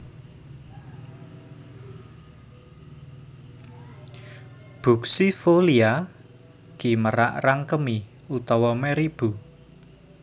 buxifolia ki merak rangkemi utawa meribu